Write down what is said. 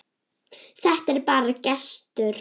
Þetta er bara gestur.